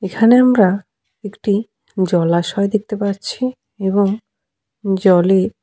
এখানে আমরা একটি জলাশয় দেখতে পাচ্ছি এবং জলে --